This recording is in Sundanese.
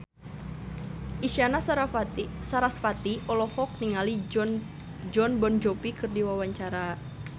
Isyana Sarasvati olohok ningali Jon Bon Jovi keur diwawancara